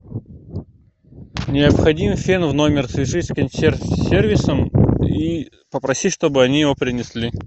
необходим фен в номер свяжись с консьерж сервисом и попроси чтобы они его принесли